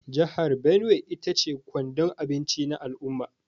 Jihar Benue ita ce kwandon abinci na al’umma.